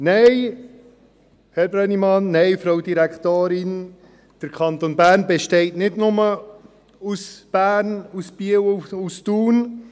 Nein, Herr Brönnimann, nein, Frau Direktorin, der Kanton Bern besteht nicht nur aus Bern, Biel und Thun.